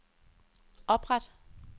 opret